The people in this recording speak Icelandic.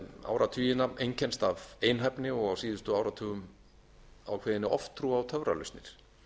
áratugina einkennst af einhæfni og á síðustu áratugum ákveðinni oftrú á töfralausnir